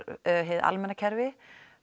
hið almenna kerfi